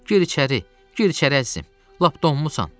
Gir içəri, gir içəri əzizim, lap donmusan.